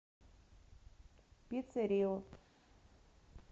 пицце рио